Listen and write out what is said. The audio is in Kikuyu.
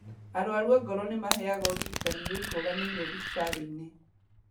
Arwaru a ngoro nĩmaheagwo ũrigitani wĩkũranĩire thibitarĩ-inĩ